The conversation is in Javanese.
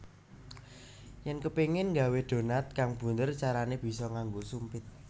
Yèn kepéngin nggawé donat kang bunder carané bisa nganggo sumpit